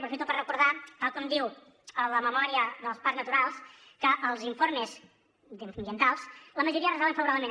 aprofito per recordar tal com diu la memòria dels parcs naturals que els informes ambientals la majoria es resolen favorablement